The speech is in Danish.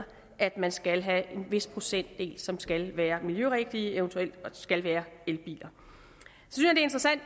at man skal have en vis procentdel som skal være miljørigtige og eventuelt skal være elbiler